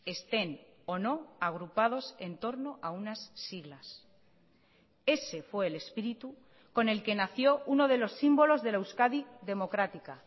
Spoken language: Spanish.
estén o no agrupados en torno a unas siglas ese fue el espíritu con el que nació uno de los símbolos de la euskadi democrática